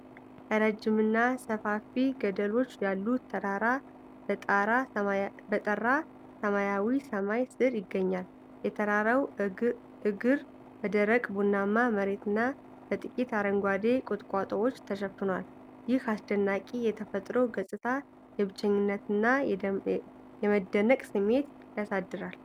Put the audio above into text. ረጅምና ሰፋፊ ገደሎች ያሉት ተራራ በጠራ ሰማያዊ ሰማይ ስር ይገኛል። የተራራው እግር በደረቅ ቡናማ መሬትና በጥቂት አረንጓዴ ቁጥቋጦዎች ተሸፍኗል። ይህ አስደናቂ የተፈጥሮ ገጽታ፣ የብቸኝነትና የመደነቅ ስሜት ያሳድራል።